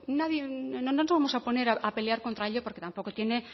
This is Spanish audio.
nadie y no nos vamos a poner a pelear contra ello porque tampoco tiene